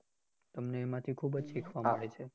તમને એમાંથી ખુબજ શીખવા મળે છે